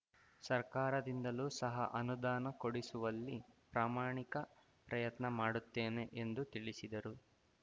ಸರ್ಕಾರದಿಂದಲೂ ಸಹ ಅನುದಾನ ಕೊಡಿಸುವಲ್ಲಿ ಪ್ರಾಮಾಣಿಕ ಪ್ರಯತ್ನ ಮಾಡುತ್ತೇನೆ ಎಂದು ತಿಳಿಸಿದರು